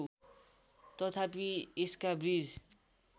तथापि यसका बीज